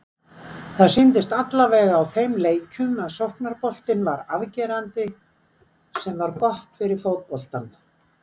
Það sýndist allavega á þeim leikjum að sóknarboltinn var afgerandi- sem var gott fyrir fótboltann.